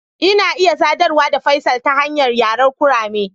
Ina iya sadarwa da Faisal ta hanyar yaren kurame.